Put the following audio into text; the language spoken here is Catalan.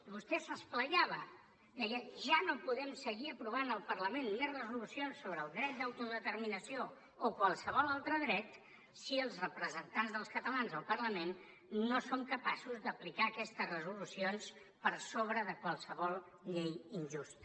vostè s’esplaiava deia ja no podem seguir aprovant al parlament més resolucions sobre el dret d’autodeterminació o qualsevol altre dret si els representants dels catalans al parlament no som capaços d’aplicar aquestes resolucions per sobre de qualsevol llei injusta